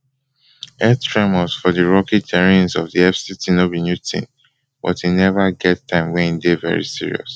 earth tremors for di rocky terrains of di fct no be new tin but e never get time wen e dey very serious